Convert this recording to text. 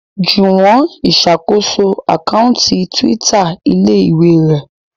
Juwon ìsàkóso Àkáùntì Twitter ilé-ìwé rẹ.